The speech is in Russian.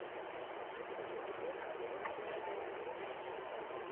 посмотреть фильм семь жизней